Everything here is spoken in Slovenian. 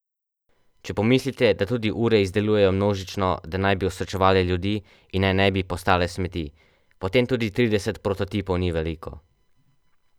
Če pomislite, da tudi ure izdelujejo množično, da naj bi osrečevale ljudi in naj ne bi postale smeti, potem tudi trideset prototipov ni veliko.